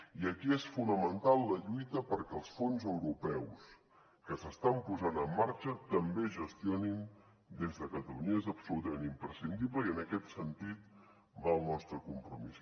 i aquí és fonamental la lluita perquè els fons europeus que s’estan posant en marxa també es gestionin des de catalunya és absolutament imprescindible i en aquest sentit va el nostre compromís